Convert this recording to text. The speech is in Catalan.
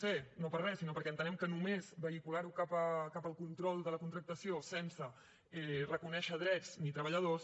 c no per res sinó perquè entenem que només vehicular ho cap al control de la contractació sense reconèixer drets ni treballadors